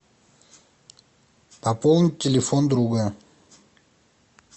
пополнить телефон друга